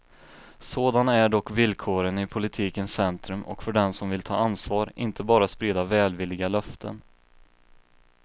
Sådana är dock villkoren i politikens centrum och för dem som vill ta ansvar, inte bara sprida välvilliga löften.